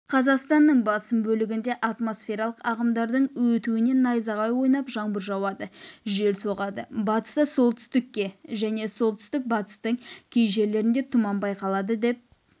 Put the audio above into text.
қазақстанның басым бөлігінде атмосфералық ағымдардың өтуінен найзағай ойнап жаңбыр жауады жел соғады батыста солтүстікте және солтүстік-батыстың кей жерлерінде тұман байқалады деп